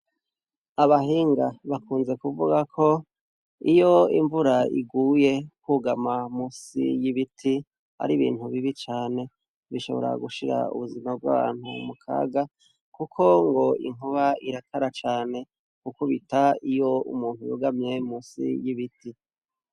Abahinga bakunze kuvuga ko iyo imvura iguye kwugama munsi y'ibiti ari ibintu bibi cane bishobora gushira ubuzima bw'abantu mu kaga kuko ngo inkuba irakara cane gukubita iyo umuntu yugamye munsi y'ibiti.